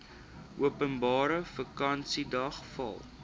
openbare vakansiedag val